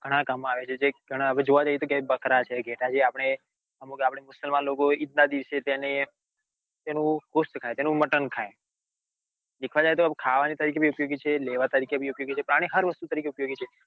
ઘણા કામ માં આવે છે જે ઘણા જોવા જઈએ કે બકરા છે ઘેટાં છે કે આપડે અમુક આપડે મુસલમાન લોકો હોય એ ઈદ ના દિવસે તેનું ghost ખાય તેનું મટન ખાય દેખાવા જઈએ તો ખાવાની તરીકે ભી ઉપયોગી છે લેવા તરીકે ભી ઉપયોગી છે પ્રાણી હાર વસ્તુ તરીકે ઉપયોગી છે.